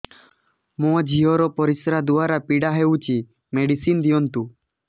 ମୋ ଝିଅ ର ପରିସ୍ରା ଦ୍ଵାର ପୀଡା ହଉଚି ମେଡିସିନ ଦିଅନ୍ତୁ